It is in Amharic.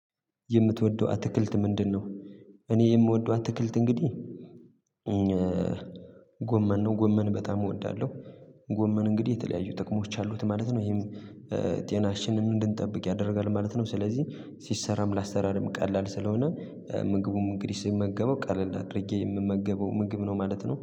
የምትወደው አትክልት ምንድነው? እኔ የምወደው አትክልት እንግዲህ ጎመን ነው ጎመን በጣም እወዳለሁ። ጎመን እንግዲህ የተለያዩ ጥቅሞች አሉት ማለት ነው። ይሄም ጤናችንን እንድንጠብቅ ያደርጋል ማለት ነው። ስለዚህ ሲሰራም ላሰራም ቀላል ስለሆነ ምግቡም እንግዲህ ሲመገበው ቀለል አድርጌ የምመገበው ምግብ ነው ማለት ነው